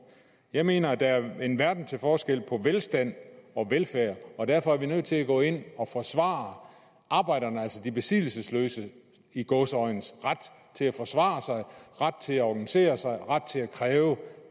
jeg mener at der er en verden til forskel på velstand og velfærd og derfor er vi nødt til at gå ind og forsvare arbejderne altså de besiddelsesløses i gåseøjne ret til at forsvare sig ret til at organisere sig ret til at kræve